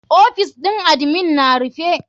OFIs ɗin admin na rufe.